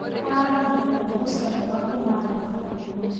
Aragũrire mbegũ cia mboga kuma thokoinĩ.